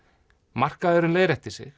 markaðurinn leiðréttir sig